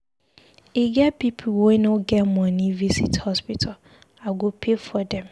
E get people wey no get money visit hospital, I go pay for dem